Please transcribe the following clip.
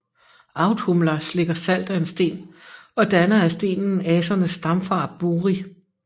Audhumla slikker salt af en sten og danner af stenen Asernes stamfader Buri